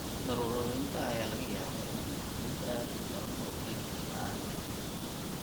Daruur-ururinta ayaa laga yaabaa inay noqoto mid aad u daran oo keeni karta aragga.